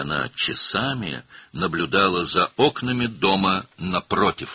Və o, saatlarla qarşıdakı evin pəncərələrini seyr edirdi.